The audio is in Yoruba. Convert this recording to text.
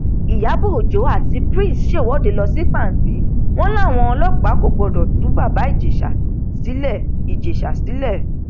ìyàbọ ọjọ àti prince ṣèwọde lọ sí pàǹtí wọn láwọn ọlọpàá kò gbọdọ tú bàbá ìjẹsà sílẹ ìjẹsà sílẹ